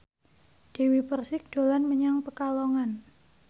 Dewi Persik dolan menyang Pekalongan